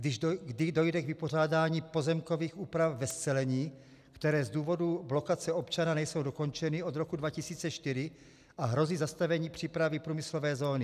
Kdy dojde k vypořádání pozemkových úprav ve scelení, které z důvodu blokace občana nejsou dokončeny od roku 2004 a hrozí zastavení přípravy průmyslové zóny?